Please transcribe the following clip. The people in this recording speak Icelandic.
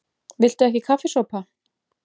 VILTU EKKI KAFFISOPA?